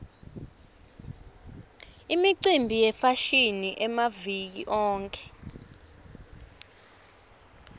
imicimbi yefashini yamaviki onkhe